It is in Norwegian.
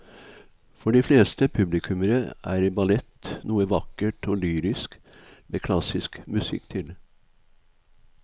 For de fleste publikummere er ballett noe vakkert og lyrisk med klassisk musikk til.